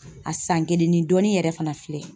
A san kelen ni dɔɔnin yɛrɛ fana filɛ